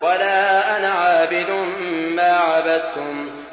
وَلَا أَنَا عَابِدٌ مَّا عَبَدتُّمْ